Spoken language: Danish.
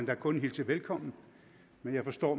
da kun hilse velkommen men jeg forstår